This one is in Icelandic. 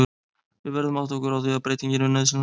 Við verðum að átta okkur á því að breyting er nauðsynleg.